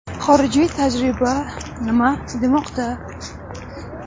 Xorijiy tajriba nima demoqda?